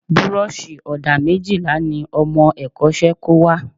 Burọ̀ṣì ọ̀dà méjìlá ni ọmọ ẹ̀kọ́ṣẹ́ kó wá